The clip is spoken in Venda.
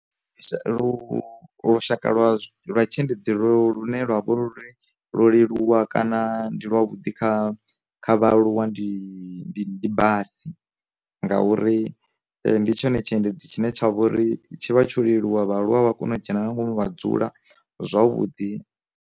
Lu lushaka lwa lwa tshiendedzi ḽo lune lwavha ḽi ḽo leluwa kana ndi lwa vhudi kha kha vhaaluwa ndi basi, ngauri ndi tshone tshiendedzi tshine tsha vhori tshi vha tsho leluwa vhaaluwa vha kone u dzhena nga ngomu vha dzula zwavhuḓi.